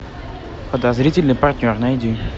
подозрительный партнер найди